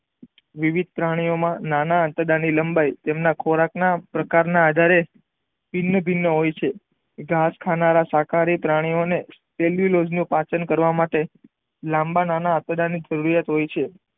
વિવિધ પ્રાણી ઓ નાના આંતરડાઓ ની લંબાઈ તેમના ખોરાક ના પ્રકાર ને આધારે ભિન્ન ભિન્ન હોય છે ઘાસ ખાનારા શાકાહારી પ્રાણી ઓ ને એબ્યુલોગ નું પાચન કરવા માટે લાંબા નાના આંતરડા ની જરૂરિયાત હોય છે.